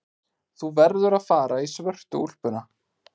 Þú verður að fara í svörtu úlpuna.